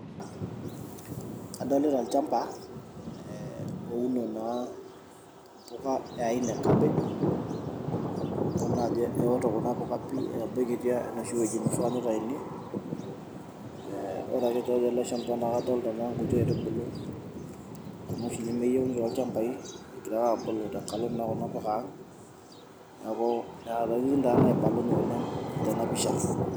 Kadolita olchamba ee ouni naa enkai aina e cabbage idol naa ajo eoto kuna puka pii etabaikitia enoshi wueji naifaa pee itayuni ee ore ake pee euo enchan naa kadolta nanu nkuti aitubulu kuna oshi nemeyieuni tolchambai egira ake aabulu naa tenkalo kuna puka aang' neeku ketii naa nena ntokitin naibalunyie tena pisha.